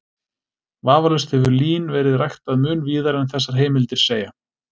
Vafalaust hefur lín verið ræktað mun víðar en þessar heimildir segja.